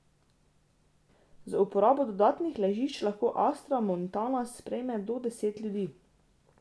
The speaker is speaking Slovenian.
Z uporabo dodatnih ležič lahko Astra Montana sprejme do deset ljudi.